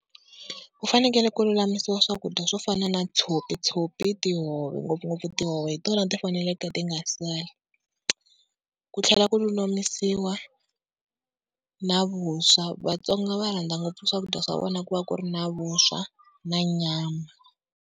Ku fanekele ku lulamisiwa swakudya swo fana na tshopi, tshopi, tihove ngopfungopfu tihove hi tona ti faneleke ti nga sali, ku tlhela ku lulamisiwa na vuswa. Vatsongo va rhandza ngopfu swakudya swa vona ku va ku ri na vuswa na nyama.